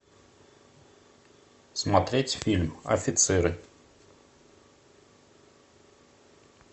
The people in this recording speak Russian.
смотреть фильм офицеры